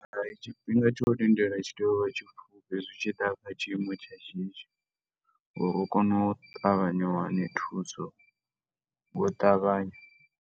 Tshifhinga tsha u lindela tshi tea u vha tshipfufhi, hezwi hu tshi ḓa kha tshiimo tsha shishi, uri u kone u ṱavhanya u wane thuso, ngo u ṱavhanya.